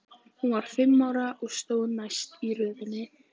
Hún var fimm ára og stóð næst í röðinni.